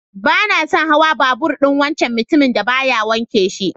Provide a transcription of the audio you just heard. Bana son hawan babur'n wancan mutumin dan baya wanke shi.